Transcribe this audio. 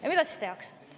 Ja mida siis tehakse?